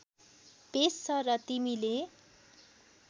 पेस छ र तिमीले